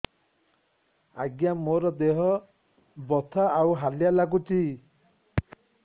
ଆଜ୍ଞା ମୋର ଦେହ ବଥା ଆଉ ହାଲିଆ ଲାଗୁଚି